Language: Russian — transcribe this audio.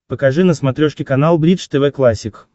покажи на смотрешке канал бридж тв классик